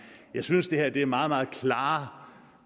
jeg synes at det her er meget meget klare